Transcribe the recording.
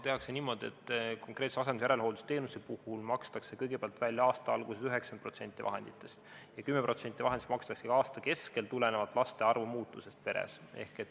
Tehakse niimoodi, et konkreetse asendus- ja järelhooldusteenuse puhul makstakse kõigepealt välja aasta alguses 90% vahenditest ja 10% vahenditest makstakse aasta keskel tulenevalt laste arvu muutusest omavalitsuses.